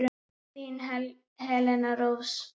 Þín Helena Rós.